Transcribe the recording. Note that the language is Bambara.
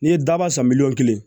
N'i ye daba san miliyɔn kelen